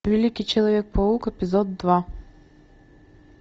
великий человек паук эпизод два